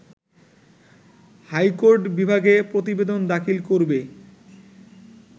high court বিভাগে প্রতিবেদন দাখিল করবে